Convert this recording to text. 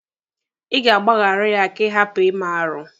Ị ga-agbaghara ya ka ị hapụ ime arụ.